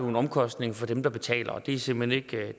en omkostning for dem der betaler og det er simpelt hen